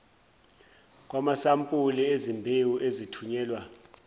kwamasampuli ezimbewu ezithunyelwa